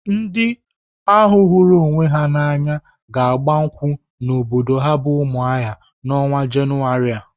Ndị ahụ hụrụ onwe ha n'anya ga-agba nkwụ n'obodo ha bụ Umuahia n'ọnwa Jenụwarị a.